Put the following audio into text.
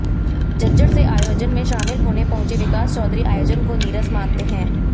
झज्जर से आयोजन में शामिल होने पहुंचे विकास चौधरी आयोजन को नीरस मानते हैं